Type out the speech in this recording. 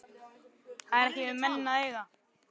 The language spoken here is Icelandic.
Það er ekki við menn að eiga.